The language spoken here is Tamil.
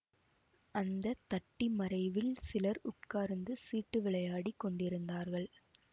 அந்த தட்டி மறைவில் சிலர் உட்கார்ந்து சீட்டு விளையாடிக் கொண்டிருந்தார்கள்